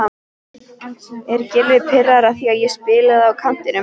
Er Gylfi pirraður á því að spila á kantinum?